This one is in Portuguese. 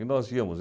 E nós íamos.